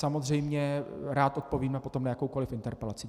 Samozřejmě rád odpovím potom na jakoukoli interpelaci.